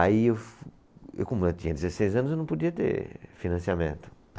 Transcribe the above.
Aí eu fu, como eu tinha dezesseis anos, eu não podia ter financiamento.